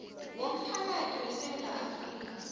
womphakathi wesewula afrika